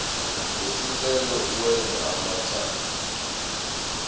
lesicelo uwenze abemathathu